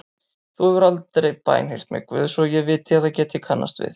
Þú hefur aldrei bænheyrt mig Guð svo ég viti eða geti kannast við.